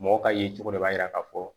Mɔgɔ ka ye cogo dɔ b'a yira ka fɔ